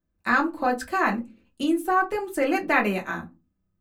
-ᱟᱢ ᱠᱷᱚᱡ ᱠᱷᱟᱱ ᱤᱧ ᱥᱟᱶᱛᱮᱢ ᱥᱮᱞᱮᱫ ᱫᱟᱲᱮᱭᱟᱜᱼᱟ ᱾